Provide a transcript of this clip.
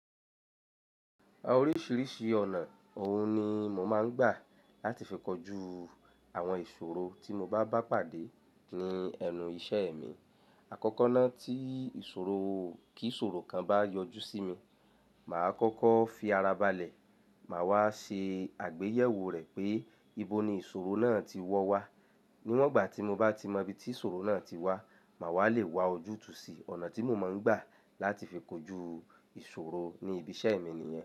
Oríṣìíríṣìí ọ̀nà ọ̀hún ni mò máa ń gbà láti fi kojú àwọn ìṣòro tí mo bá bá pàdé ní ẹnu iṣẹ́ mi. Àkọ́kọ́ náà tí ìṣòro, kí ìṣòro kan bá yọjú sí mi, màá kọ́kọ́ fi ara balẹ̀. Màá wá ṣe àgbéyẹ̀wò rẹ̀ pé ibo ni ìṣòro náà ti wọ́ wá. Níwọ̀n ìgbà tí mo bá ti mọ ibi tí ìṣòro náà ti wá, màá wá le wa ojútùú sí ọ̀nà tí mò máa ń gbà láti fi kojú ìṣòro ní ibi iṣẹ́ mi nìyẹn.